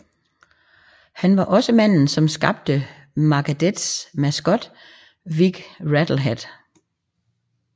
Han var også manden som skabte Megadeths maskot Vic Rattlehead